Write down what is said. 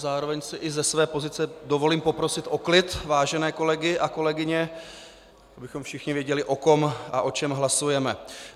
Zároveň si i ze své pozice dovolím poprosit o klid vážené kolegy a kolegyně, abychom všichni věděli, o kom a o čem hlasujeme.